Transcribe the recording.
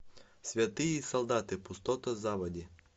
святые солдаты пустоты заводи